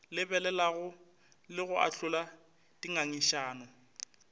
lebelelago le go ahlola dingangišano